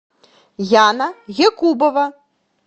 яна якубова